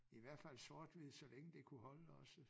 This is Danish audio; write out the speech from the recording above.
I hvert fald sort-hvid så længe det kunne holde også